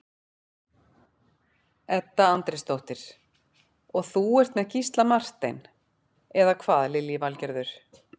Edda Andrésdóttir: Og þú ert með Gísla Martein, eða hvað Lillý Valgerður?